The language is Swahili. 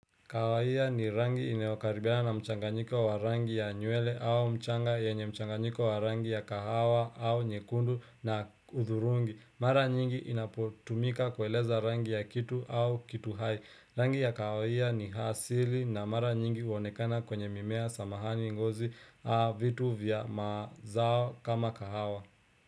Kawahia ni rangi inayokaribiana na mchanganyiko wa rangi ya nywele au mchanga yenye mchanganyiko wa rangi ya kahawa au nyekundu na hudhurungi. Mara nyingi inapotumika kueleza rangi ya kitu au kitu hai. Rangi ya kawahia ni asili na mara nyingi huonekana kwenye mimea samahani ngozi vitu vya mazao kama kahawa.